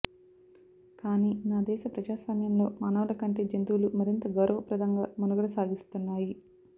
కానీ నా దేశ ప్రజాస్వామ్యంలో మానవులకంటే జంతువులు మరింత గౌరవప్రదంగా మనుగడ సాగిస్తున్నాయి